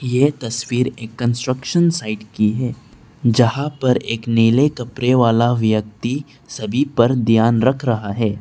यह तस्वीर एक कंस्ट्रक्शन साइट की है जहां पर एक नीले कपड़े वाला व्यक्ति सभी पर ध्यान रख रहा है।